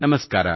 ನಮಸ್ಕಾರ